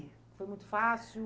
Foi muito fácil?